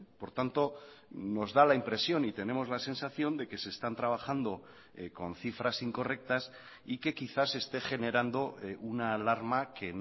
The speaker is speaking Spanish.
por tanto nos da la impresión y tenemos la sensación de que se están trabajando con cifras incorrectas y que quizás esté generando una alarma que